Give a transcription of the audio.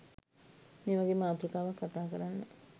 මේ වගේ මාතෘකාවක් කතා කරන්න